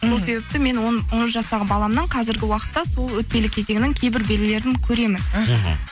сол себепті мен он жастағы баламның қазіргі уақытта сол өтпелі кезеңнің кейбір белгілерін көремін іхі